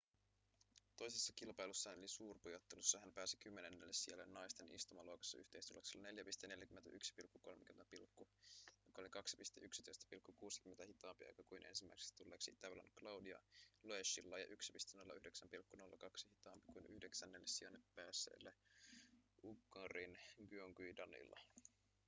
toisessa kilpailussaan eli suurpujottelussa hän pääsi kymmenennelle sijalle naisten istumaluokassa yhteistuloksella 4.41,30 joka oli 2.11,60 hitaampi aika kuin ensimmäiseksi tulleella itävallan claudia loeschilla ja 1.09,02 hitaampi kuin yhdeksännelle sijalle päässeellä unkarin gyöngyi danilla